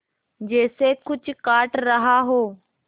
जैसे कुछ काट रहा हो